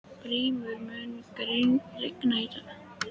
Brímir, mun rigna í dag?